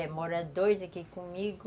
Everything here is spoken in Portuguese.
É, moram dois aqui comigo.